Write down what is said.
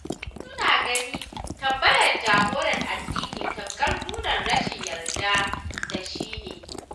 Wasu na ganin tambayar jagoran addini tamkar nuna rashin yarda da shi ne.